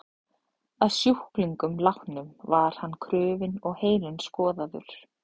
Að sjúklingnum látnum var hann krufinn og heilinn skoðaður.